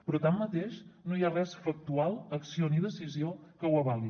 però tanmateix no hi ha res factual acció ni decisió que ho avali